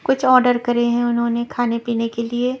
कुछ ऑर्डर करे हैं उन्होंने खाने पीने के लिए --